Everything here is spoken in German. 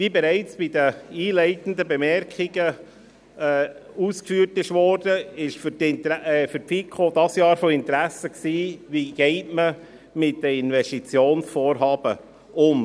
Wie bereits bei den einleitenden Bemerkungen ausgeführt wurde, war dieses Jahr für die FiKo von Interesse, wie man mit den Investitionsvorhaben umgeht.